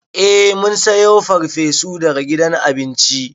Eh mun sayo farfesu daga gidan abinci.